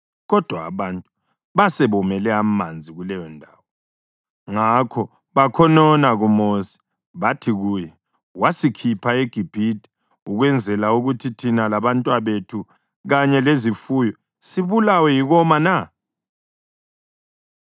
Kodwa abantu basebomele amanzi kuleyondawo, ngakho bakhonona kuMosi. Bathi kuye, “Wasikhupha eGibhithe ukwenzela ukuthi thina labantwabethu kanye lezifuyo sibulawe yikoma na?”